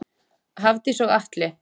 Hafdís og Atli.